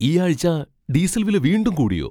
ഈ ആഴ്ച ഡീസൽ വില വീണ്ടും കൂടിയോ ?